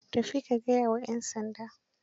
Tafi ka gaya wa 'yan sanda.